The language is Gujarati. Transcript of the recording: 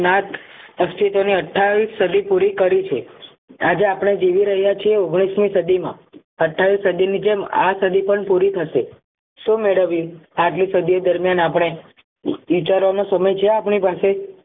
અસ્તિત્વ ની અથીયાવીસ સદી પૂરી કરી છે આજે આપણે જીવી રહ્યા છીએ ઓગણીસ મી સદીમાં અથીયાવી સદીની જેમ આ સદી પણ પૂરી થશે મેળવવી આટલી સદીઓ દરમિયાન આપણે વિચારોનો સમય છે આપણી પાસે